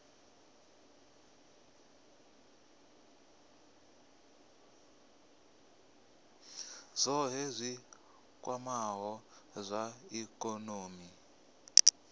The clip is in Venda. zwohe zwi kwamaho zwa ikonomi